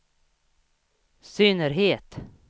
synnerhet